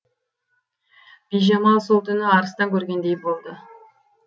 бижамал сол түні арыстан көргендей болды